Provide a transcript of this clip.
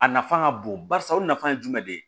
A nafa ka bon barisa o nafa ye jumɛn de ye